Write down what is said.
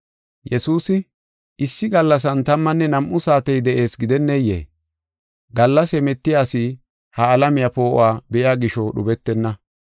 Yesuusi, “Issi gallasan tammanne nam7u saatey de7ees gidenneyee? Gallas hemetiya asi ha alamiya poo7uwa be7iya gisho dhubetenna.